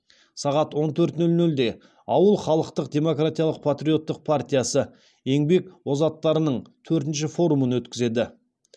сағат он төрт нөл нөлде ауыл халықтық демократиялық патриоттық партиясы еңбек озаттарының төртінші форумын өткізеді